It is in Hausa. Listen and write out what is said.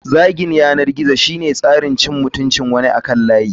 Zagin yanar gizo shine tsarin cin mutuncin wani akan layi.